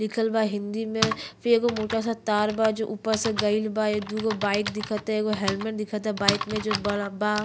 लिखल बा हिंदी में फिर एगो मोटा सा तारा बा जो ऊपर से गइल बा। दुगो बाइक दिखता। एगो हेलमेट दिखता। बाइक मे जोवन बा।